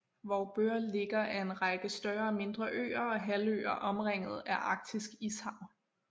Vorupør ligger af en række større og mindre øer og halvøer omringet af arktisk ishav